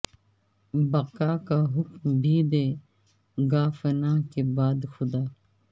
بقاء کا حکم بھی دے گا فنا کے بعد خدا